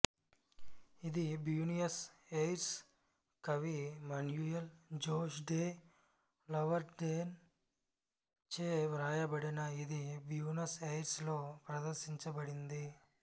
ఇది Buenos Aires కవి Manuel Jose de Lavarden చే వ్రాయబడింది ఇది బ్యూనస్ ఎయిర్స్ లో ప్రదర్శించబడింది